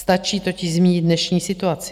Stačí totiž zmínit dnešní situaci.